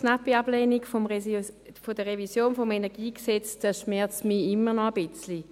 Knappe Ablehnung der Revision des KEnG, das schmerzt mich immer noch ein wenig.